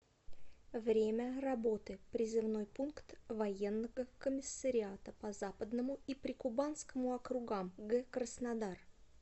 время работы призывной пункт военного комиссариата по западному и прикубанскому округам г краснодар